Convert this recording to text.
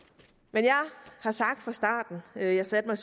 jeg har sagt fra starten da jeg satte mig